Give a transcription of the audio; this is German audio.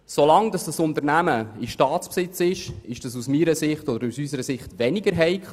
Solange dieses Unternehmen in Staatsbesitz ist, kann man das aus unserer Sicht akzeptieren.